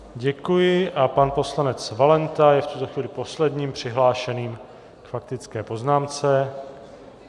Děkuji a pan poslanec Valenta je v tuto chvíli posledním přihlášeným k faktické poznámce.